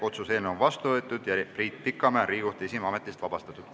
Otsuse eelnõu on vastu võetud ja Priit Pikamäe on Riigikohtu esimehe ametist vabastatud.